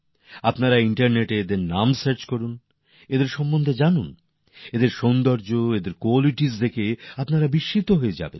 আপনি ইন্টারনেটএ এদের নামে সার্চ করুন এদের সম্পর্কে জানুন আপনারা এদের সৌন্দর্য এদের গুণাবলী দেখে স্তম্ভিত হয়ে যাবেন